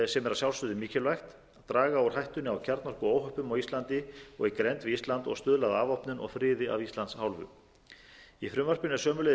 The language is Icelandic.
sjálfsögðu mikilvægt draga úr hættunni á kjarnorkuóhöppum á íslandi og í grennd við ísland og stuðla að afvopnun og friði af íslands hálfu í frumvarpinu er sömuleiðis